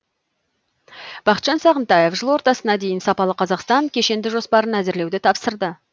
бақытжан сағынтаев жыл ортасына дейін сапалы қазақстан кешенді жоспарын әзірлеуді тапсырды